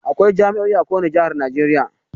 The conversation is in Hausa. Akwai jami"o'i a ko wani jihar Najeriya.